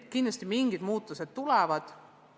Kindlasti mingisugused muutused tulevad.